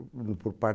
O por parte